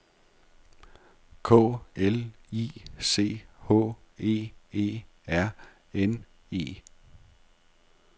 K L I C H E E R N E